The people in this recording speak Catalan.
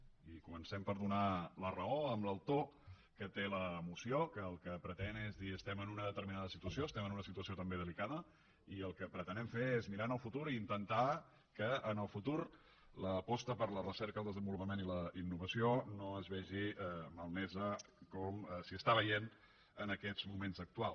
és a dir comencem per donar la raó a l’autor que té la moció que el que pretén és dir estem en una determinada situació estem en una situació també delicada i el que pretenem fer és mirar el futur i intentar que en el futur l’aposta per la recerca el desenvolupament i la innovació no es vegi malmesa com s’hi està veient en aquests moments actuals